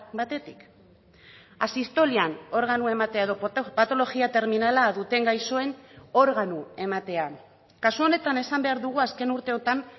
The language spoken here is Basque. batetik asistolian organoa ematea edo patologia terminala duten gaixoen organo ematea kasu honetan esan behar dugu azken urteotan